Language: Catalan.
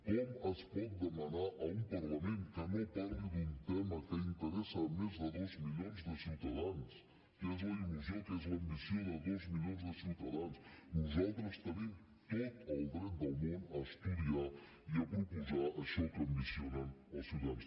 com es pot demanar a un parlament que no parli d’un tema que interessa a més de dos milions de ciutadans que és la il·lusió que és l’ambició de dos milions de ciutadans nosaltres tenim tot el dret del món a estudiar i a proposar això que ambicionen els ciutadans